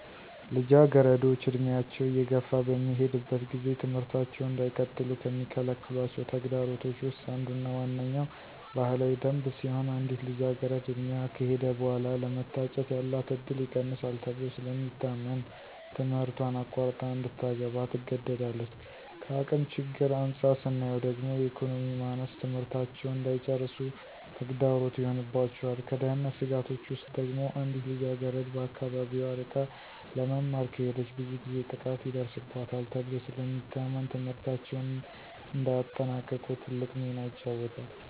ልጃገረዶች ዕድሜያቸው እየገፋ በሚሄድበት ጊዜ ትምህርታቸውን እንዳይቀጥሉ ከሚከለክሏቸው ተግዳሮቶች ውስጥ አንዱና ዋነኛዉ ባህላዊ ደንብ ሲሆን አንዲት ልጃገረድ ዕድሜዋ ከሄደ በኃላ ለመታጨት ያላት እድል ይቀንሳል ተብሎ ስለሚታመን ትምህረቷን አቋርጣ እንድታገባ ትገደዳለች። ከአቅም ችግር አንፃር ስናየው ደግሞ የኢኮኖሚ ማነስ ትምህርታቸውን እንዳይጨርሱ ተግዳሮት ይሆንባቸዋል። ከደህንነት ስጋቶች ውስጥ ደግሞ አንዲት ልጃገረድ ከአካባቢዋ ርቃ ለመማር ከሄደች ብዙ ጊዜ ጥቃት ይደርስባታል ተብሎ ስለሚታመን ትምህርታቸውን እንዳያጠናቅቁ ትልቅ ሚና ይጫወታል።